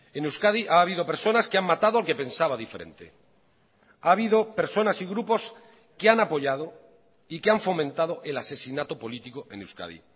en euskadi ha habido personas que han matado al que pensaba diferente ha habido personas y grupos que han apoyado y que han fomentado el asesinato político en euskadi